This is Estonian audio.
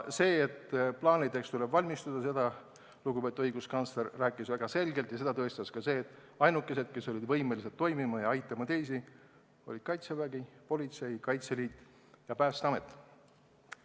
Sellest, et on vaja plaanida ja teha ettevalmistusi, rääkis väga selgelt lugupeetud õiguskantsler ning seda tõestas ka asjaolu, et ainukesed, kes olid kriisi ajal võimelised toimima ja teisi aitama, olid Kaitsevägi, Politsei- ja Piirivalveamet, Kaitseliit ja Päästeamet.